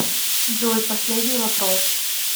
джой последний вопрос